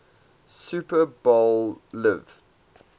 super bowl xliv